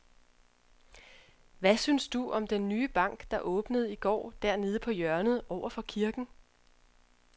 Hvad synes du om den nye bank, der åbnede i går dernede på hjørnet over for kirken?